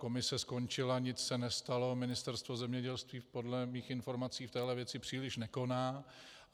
Komise skončila, nic se nestalo, Ministerstvo zemědělství podle mých informací v téhle věci příliš nekoná.